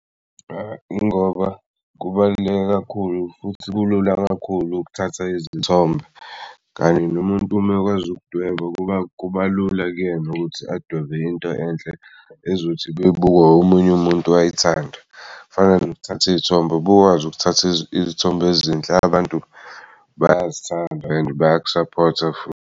Ingoba kubaluleke kakhulu futhi kulula kakhulu ukuthatha izithombe kanti nomuntu uma ekwazi ukudweba kuba lula kuyena ukuthi adwebe into enhle ezothi bebuka omunye umuntu wayithanda. Kufana nokuthatha iy'thombe. Bekwazi ukuthatha iy'thombe ezinhle abantu bayazithanda and bayaku-support-a futhi.